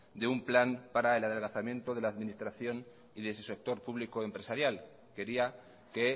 de un plan para el adelgazamiento de la administración y de su sector público empresarial quería que